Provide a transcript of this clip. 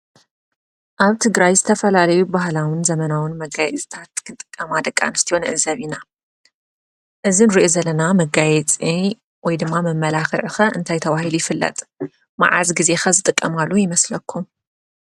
ኣብ ትግራይ ዝተፈላለዩ ባህላውን ዘመናውን መጋየፂታትክጥቀማ ደቂ ኣንስትዮ ንዕዘብ ኢና ።እዚ እንሪኦ ዘለና መጋየፂ ወይ ድማ መመላክዒ ከ እንታይ ተባሂሉ ይፅዋዕ ? መዓዝ ግዜ ከ ዝጥቀማሉ ይመስለኩም ?